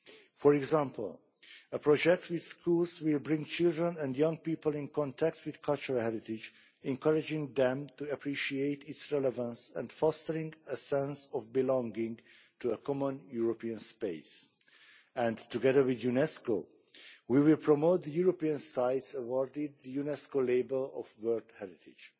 For example, a project with schools will bring children and young people into contact with cultural heritage, encouraging them to appreciate its relevance and fostering a sense of belonging to a common European space and together with UNESCO, we will promote the European sites awarded the UNESCO label of World Heritage.